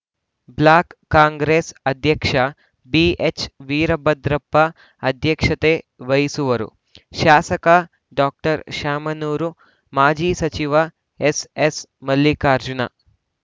block Congress ಅಧ್ಯಕ್ಷ ಬಿಎಚ್‌ವೀರಭದ್ರಪ್ಪ ಅಧ್ಯಕ್ಷತೆ ವಹಿಸುವರು ಶಾಸಕ ಡಾಕ್ಟರ್ ಶಾಮನೂರು ಮಾಜಿ ಸಚಿವ ಎಸ್‌ಎಸ್‌ಮಲ್ಲಿಕಾರ್ಜುನ